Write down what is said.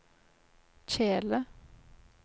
kjele